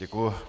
Děkuji.